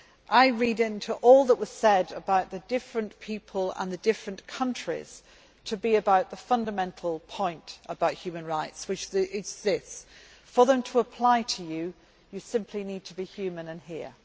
I read into all that was said, about the different people and the different countries, the fundamental point about human rights, which is this for them to apply to you, you simply need to be human and